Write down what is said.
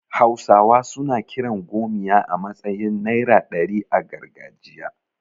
Hausawa suna kiran 'gomiya' a matsayin naira ɗari a gargajiya.